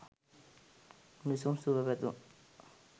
උණුසුම් සුභ පැතුම්